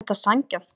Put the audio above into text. Er þetta sanngjarnt